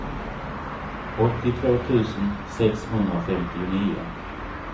åttiotvå tusen sexhundrafemtionio